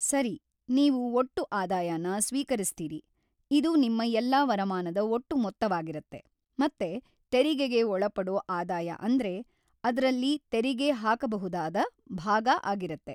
ಸರಿ, ನೀವು ಒಟ್ಟು ಆದಾಯನ ಸ್ವೀಕರಿಸ್ತೀರಿ, ಇದು ನಿಮ್ಮ ಎಲ್ಲಾ ವರಮಾನದ ಒಟ್ಟು ಮೊತ್ತವಾಗಿರತ್ತೆ ಮತ್ತೆ ತೆರಿಗೆಗೆ ಒಳಪಡೋ ಆದಾಯ ಅಂದ್ರೆ ಅದ್ರಲ್ಲಿ ತೆರಿಗೆ ಹಾಕ್ಬಹುದಾದ ಭಾಗ ಆಗಿರತ್ತೆ.